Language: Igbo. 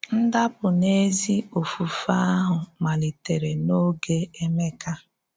Ndàpụ̀ n’ézí òfùfè àhụ̀ malìtèrè n’ógè Èmékà.